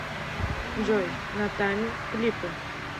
джой натами клипы